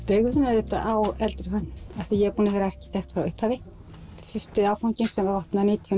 auðvitað á eldri hönnun ég er búin að vera arkitekt frá upphafi fyrsti áfanginn opnaði nítján